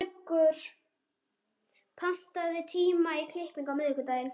Svanbergur, pantaðu tíma í klippingu á miðvikudaginn.